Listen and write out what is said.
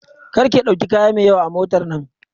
Kar ki ɗauki kaya mai yawa a motar nan!